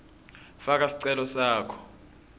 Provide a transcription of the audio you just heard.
faka sicelo sakho